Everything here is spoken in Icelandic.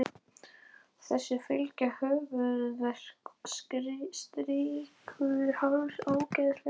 Þessu fylgja höfuðverkur, stífur háls, ógleði og uppköst, hár hiti og lömun.